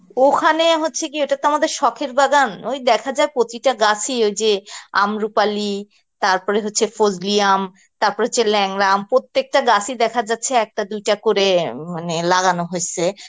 ওখানে হচ্ছে কি ওটা তো আমাদের সখের বাগান ওই দেখা যাক প্রতিটা গাছি ওই যে আমরুপালি, তারপরে হচ্ছে ফজলি আম, তারপর হচ্ছে ল্যাংড়া আম, প্রত্যেকটা গাছই দেখা যাচ্ছে একটা দুটা করে মানে লাগানো হয়েসে